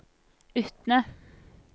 Utne